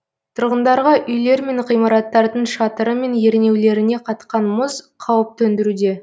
тұрғындарға үйлер мен ғимараттардың шатыры мен ернеулеріне қатқан мұз қауіп төндіруде